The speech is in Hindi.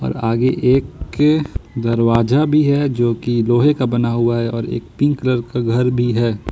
और आगे एक दरवाजा भी है जो की लोहे का बना हुआ है और एक पिंक कलर का घर भी है।